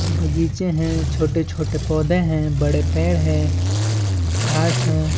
बगीचे है छोटे -छोटे पौधे है बड़े पेड़ है घास हैं।